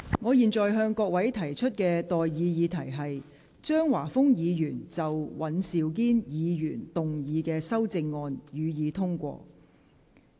我現在向各位提出的待議議題是：張華峰議員就尹兆堅議員議案動議的修正案，予以通過。